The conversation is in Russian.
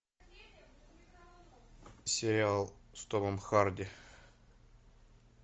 сериал с томом харди